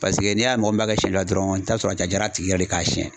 Paseke n'i y'a mɔgɔ minɛ ka sɛn sɔrɔ a ja jara tigi ye k'a siɲɛ.